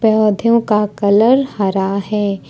पौधों का कलर हरा है।